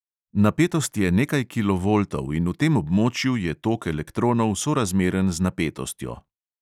Napetost je nekaj kilovoltov in v tem območju je tok elektronov sorazmeren z napetostjo.